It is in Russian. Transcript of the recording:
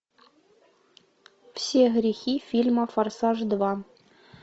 все грехи фильма форсаж два